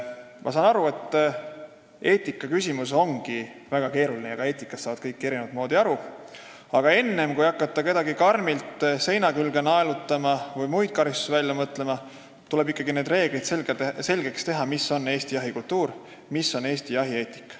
Ma saan aru, et eetikaküsimus ongi väga keeruline, eetikast saavad kõik eri moodi aru, aga enne, kui hakata kedagi karmilt seina külge naelutama või muid karistusi välja mõtlema, tuleb ikkagi selgeks teha need reeglid, mis on Eesti jahikultuur, mis on Eesti jahieetika.